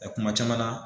kuma caman na